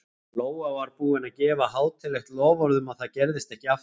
Lóa var búin að gefa hátíðlegt loforð um að það gerðist ekki aftur.